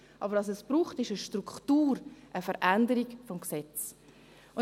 Aber was es braucht, ist eine Struktur, eine Veränderung des Gesetzes.